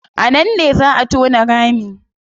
A nan ne zaa a tona rami